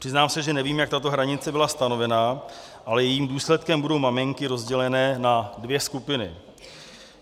Přiznám se, že nevím, jak tato hranice byla stanovena, ale jejím důsledkem budou maminky rozděleny na dvě skupiny.